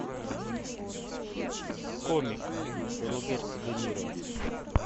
комик роберт де ниро